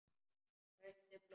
Kauptu blóm.